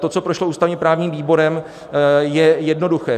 To, co prošlo ústavně-právním výborem, je jednoduché.